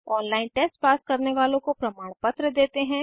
online test pass करने वालोँ को प्रमाणपत्र देते हैं